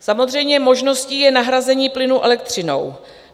Samozřejmě možností je nahrazení plynu elektřinou.